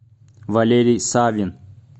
валерий савин